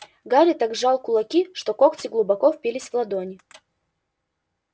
гарри так сжал кулаки что когти глубоко впились в ладони